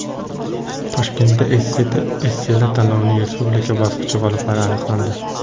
Toshkentda esselar tanlovining respublika bosqichi g‘oliblari aniqlandi.